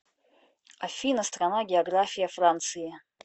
афина страна география франции